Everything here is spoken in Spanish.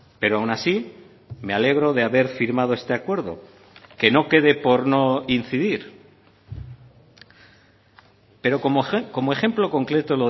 pero aun así me alegro de haber firmado este acuerdo que no quede por no incidir pero como ejemplo concreto